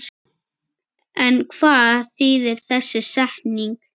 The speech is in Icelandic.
En hvað þýðir þessi setning?